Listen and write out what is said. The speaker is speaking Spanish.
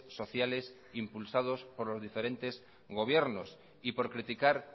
sociales impulsados por los diferentes gobiernos y por criticar